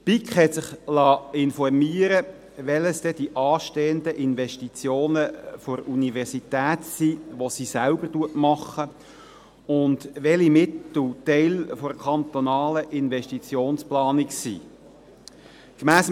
Die BiK hat sich darüber informieren lassen, welches denn die anstehenden Investitionen der Universität sind, die sie selbst macht, und welche Mittel Teil der kantonalen Investitionsplanung sind.